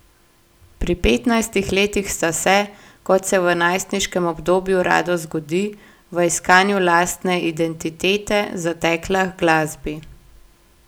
Pri petnajstih letih sta se, kot se v najstniškem obdobju rado zgodi, v iskanju lastne identitete zatekla h glasbi.